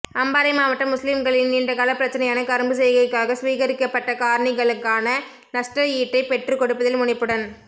அம்பாறை மாவட்ட முஸ்லிம்களின் நீண்டகால பிரச்சினையான கரும்பு செய்கைக்காக சுவீகரிக்கப்பட்ட காணிகளுக்கான நஷ்டஈட்டைப் பெற்றுக்கொடுப்பதில் முனைப்புடன்